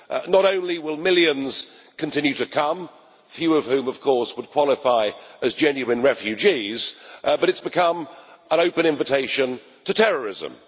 Not only will millions continue to come, few of whom, of course, would qualify as genuine refugees, but it has become an open invitation to terrorism.